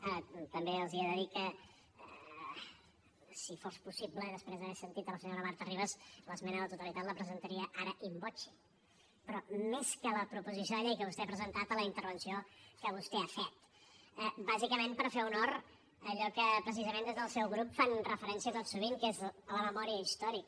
ara també els he de dir que si fos possible i després d’haver sentit la senyora marta ribas l’esmena a la totalitat la presentaria ara in voce però més que a la proposició de llei que vostè ha presentat a la intervenció que vostè ha fet bàsicament per fer honor a allò a què precisament des del seu grup fan referència tot sovint que és la memòria històrica